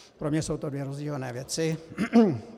Pro mě jsou to dvě rozdílné věci.